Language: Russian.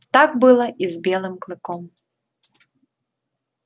так было и с белым клыком